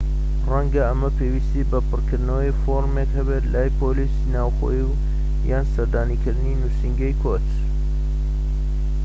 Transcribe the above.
ڕەنگە ئەمە پێویستی بە پڕکردنەوەی فۆرمێک هەبێت لای پۆلیسی ناوخۆیی یان سەردانیکردنی نووسینگەی کۆچ